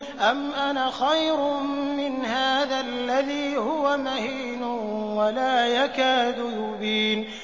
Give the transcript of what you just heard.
أَمْ أَنَا خَيْرٌ مِّنْ هَٰذَا الَّذِي هُوَ مَهِينٌ وَلَا يَكَادُ يُبِينُ